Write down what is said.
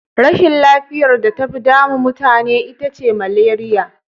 Rashin lafiyar da tafi damu mutane ita ce maleriya.